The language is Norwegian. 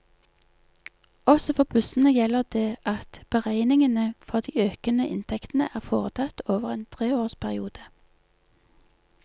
Også for bussene gjelder det at beregningene for de økede inntektene er foretatt over en tre års periode.